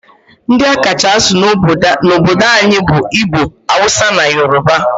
Ndi a kacha asụ n'obodo anyi bu Igbo, Hausa, na Yoruba.